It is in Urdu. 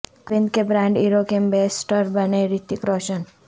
اروند کے برانڈ ایرو کے ایمبیسڈر بنے رتک روشن